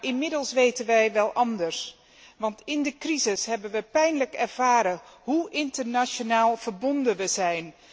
Inmiddels weten wij wel beter, want in de crisis hebben we pijnlijk ervaren hoe internationaal verbonden we zijn.